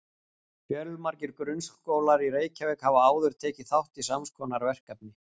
Fjölmargir grunnskólar í Reykjavík hafa áður tekið þátt í sams konar verkefni.